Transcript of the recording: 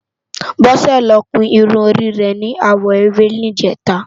Bose ló kún irún rè ni áwò éwé nijètá